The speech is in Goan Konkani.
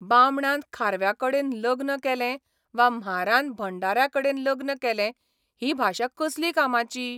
बामणान खारव्याकडेन लग्न केलें वा म्हारान भंडाऱ्याकडेन लग्न केलें ही भाशा कसली कामाची?